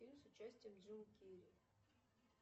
фильм с участием джима керри